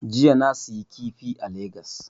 Jiya na siyi kifi a lagas